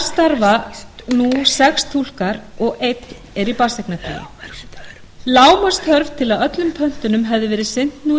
nú sex túlkar og einn er í barneignarfríi til að öllum pöntunum hefði verið sinnt nú í